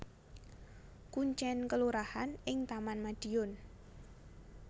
Kuncèn kelurahan ing Taman Madiun